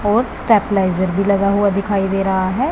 और स्टेबलाइजर भी लगा हुआ दिखाई दे रहा है।